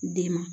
Den ma